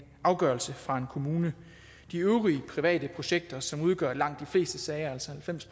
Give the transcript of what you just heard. afgørelse fra en kommune de øvrige private projekter som udgør langt de fleste sager altså halvfems